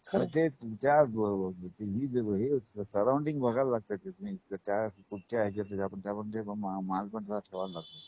पण जे तुमच्या हल्ली हे सर्र्ऊंडिंग बघायला लागत कि तुम्ही काय कुठच्या हेचात आपण करत म्हणजे माल पण तसाच ठेवावा लागतो.